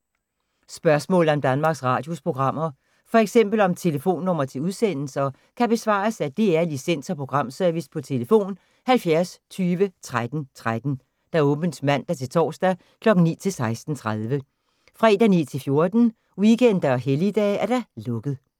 Spørgsmål om Danmarks Radios programmer, f.eks. om telefonnumre til udsendelser, kan besvares af DR Licens- og Programservice: tlf. 70 20 13 13, åbent mandag-torsdag 9.00-16.30, fredag 9.00-14.00, weekender og helligdage: lukket.